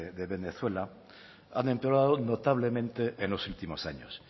de venezuela han empeorado notablemente en los últimos años